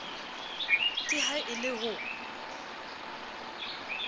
ke ha e le ho